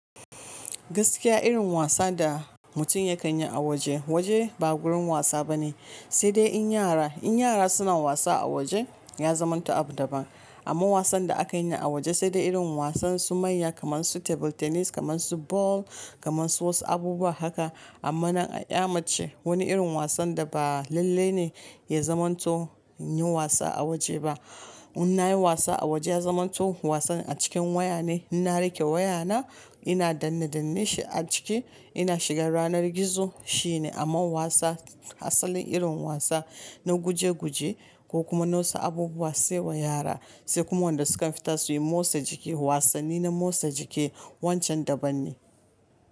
Gaskiya irin wasa da mutum ya kan yi a waje, waje ba gurin wasa bane, sai dai in yara, in yara suna wasa a waje ya zamanto abu daban. Amma wasan da aka yi a waje sai dai irin wasan su manya kamar su table tennis, kamar su ball, kamar su wasu abubuwa haka. Amma nan a ƴa mace wani irin wasan da ba lallai ne ya zamanto yin wasa a waje ba. In nayi wasa a waje ya zamanto wasan a cikin waya ne. Inna riƙe wayana ina danne danneshi a ciki ina shiga yanar gizo shine. Amma wasa, asalin irin wasa na guje guje ko kuma na wasu abubuwa sai wa yara, sai kuma wanda sukan fita suyi motsa jiki, wasanni na motsa jiki wancan daban ne.